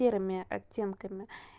серыми оттенками